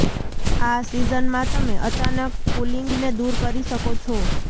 આ સિઝનમાં તમે અચાનક કૂલિંગને દૂર કરી શકો છો